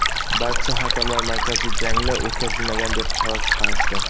barcha hakamlar markaziy jangni o‘tkazilmagan deb qaror chiqarishdi.